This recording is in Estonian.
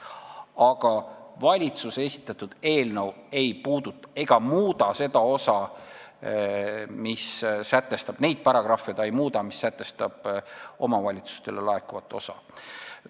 Aga valitsuse esitatud eelnõu ei muuda seda osa, neid paragrahve, mis sätestavad omavalitsustele laekuvat osa.